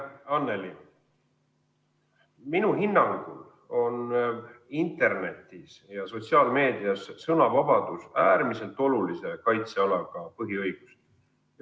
Anneli, minu hinnangul on internetis ja sotsiaalmeedias sõnavabadus äärmiselt olulise kaitsealaga põhiõigus.